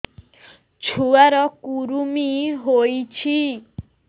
ଛୁଆ ର କୁରୁମି ହୋଇଛି